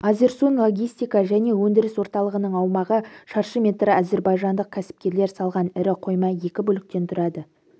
азерсун логистика және өндіріс орталығының аумағы шаршы метр әзірбайжандық кәсіпкерлер салған ірі қойма екі бөліктен тұрады